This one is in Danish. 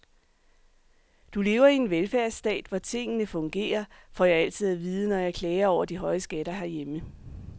Du lever i en velfærdsstat, hvor tingene fungerer, får jeg altid at vide, når jeg klager over de høje skatter herhjemme.